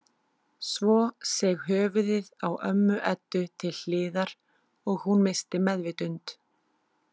Svo seig höfuðið á ömmu Eddu til hliðar og hún missti meðvitund.